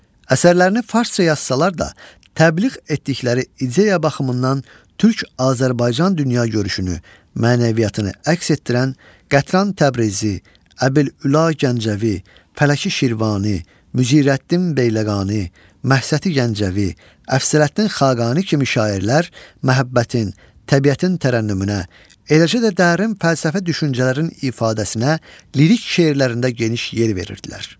Əsərlərini farsça yazsalar da, təbliğ etdikləri ideya baxımından türk-Azərbaycan dünyagörüşünü, mənəviyyatını əks etdirən Qətran Təbrizi, Əbülüla Gəncəvi, Fələki Şirvani, Mücirəddin Beyləqani, Məhsəti Gəncəvi, Əfzələddin Xaqani kimi şairlər məhəbbətin, təbiətin tərənnümünə, eləcə də dərin fəlsəfi düşüncələrin ifadəsinə lirik şeirlərində geniş yer verirdilər.